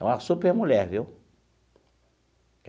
É uma supermulher, viu?